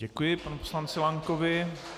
Děkuji panu poslanci Lankovi.